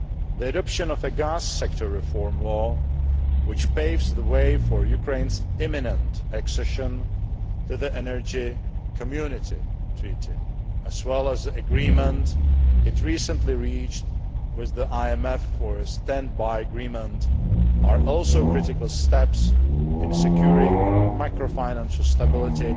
The adoption of a gas sector reform law, which paves the way for Ukraine's imminent accession to the Energy Community Treaty, as well as the agreement it recently reached with the IMF for a standby agreement, are also critical steps in securing macro financial stability,